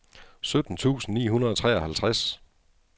sytten tusind ni hundrede og treoghalvtreds